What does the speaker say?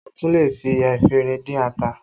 A tún lè fi efinrin dín ata